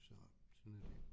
Så sådan er det